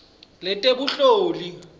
letebunhloli